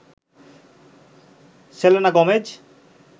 Selena Gomez